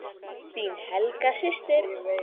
Þín Helga systir.